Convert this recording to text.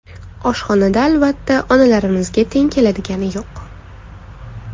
Oshxonada albatta, onalarimizga teng keladigani yo‘q.